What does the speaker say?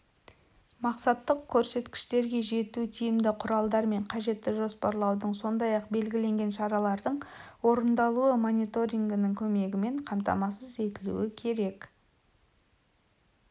мақсаттық көрсеткіштерге жету тиімді құралдар мен қажетті жоспарлаудың сондай-ақ белгіленген шаралардың орындалуы мониторингінің көмегімен қамтамасыз етілуі керек